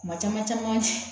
Kuma caman caman